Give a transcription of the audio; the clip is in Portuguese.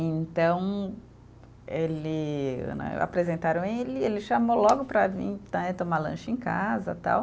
Então ele né, apresentaram ele e ele chamou logo para vir né, tomar lanche em casa, tal.